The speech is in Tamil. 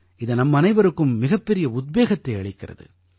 இது நம்மனைவருக்கும் மிகப்பெரிய உத்வேகத்தை அளிக்கிறது